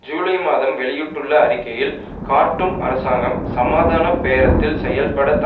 ஜூலை மாதம் வெளியிட்டுள்ள அறிக்கையில் கார்ட்டூம் அரசாங்கம் சமாதான பேரத்தில் செயல்படுத்த